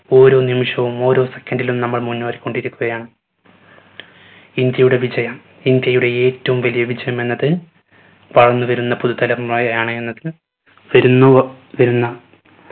ഓരോ നിമിഷവും ഓരോ second ലും നമ്മൾ മുന്നോറിക്കൊണ്ടിരിക്കുകയാണ് ഇന്ത്യയുടെ വിജയം ഇന്ത്യയുടെ ഏറ്റവും വലിയ വിജയം എന്നത് വളർന്നു വരുന്ന പുതു തലമുറയാണ് എന്നത് വെരുന്നുവ വരുന്ന